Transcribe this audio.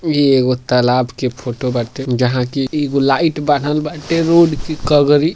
ई एगो तालाब के फोटो बाटे जहां की एगो लाइट बान्हल बाटे रोड़ के कगरी।